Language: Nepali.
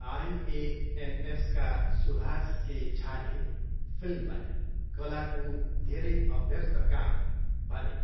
आइएएनएसका सुभाष के झाले फिल्मलाई कलाको धेरै अभ्यस्त काम भने।